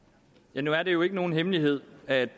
nu er det jo ikke nogen hemmelighed at